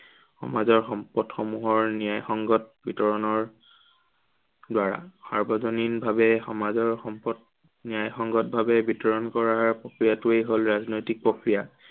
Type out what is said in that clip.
সমাজৰ সম্পদসমূহৰ ন্য়ায়সংগত বিতৰণৰ দ্বাৰা। সাৰ্বজনীন ভাৱে সমাজৰ সম্পদ, ন্য়ায়সংগত ভাৱে বিতৰণ কৰাৰ প্ৰক্ৰিয়াটোৱেই হল ৰাজনৈতিক প্ৰক্ৰিয়া।